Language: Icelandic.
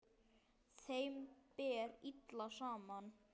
Þeim ber illa saman.